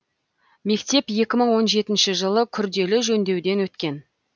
мектеп екі мың он жетінші жылы күрделі жөндеуден өткен